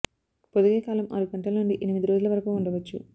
పొదిగే కాలం ఆరు గంటల నుండి ఎనిమిది రోజుల వరకు ఉండవచ్చు